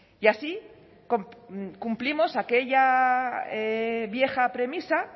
y así cumplimos aquella vieja premisa